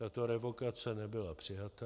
Tato revokace nebyla přijata.